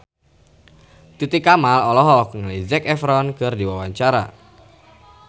Titi Kamal olohok ningali Zac Efron keur diwawancara